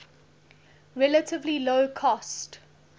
relatively low cost